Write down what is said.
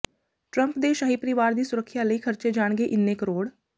Trump ਦੇ ਸ਼ਾਹੀ ਪਰਿਵਾਰ ਦੀ ਸੁਰੱਖਿਆ ਲਈ ਖਰਚੇ ਜਾਣਗੇ ਇੰਨੇ ਕਰੋੜ